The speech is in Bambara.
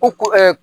Ko ko